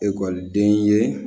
Ekɔliden ye